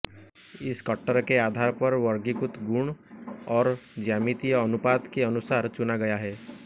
इस कटर के आधार पर वर्गीकृत गुण और ज्यामितीय अनुपात के अनुसार चुना गया है